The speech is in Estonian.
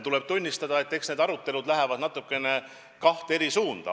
Tuleb tunnistada, et need arutelud on läinud natukene kahte eri suunda.